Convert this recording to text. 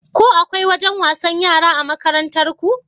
Ko akwai wajen wasa a makarantarku?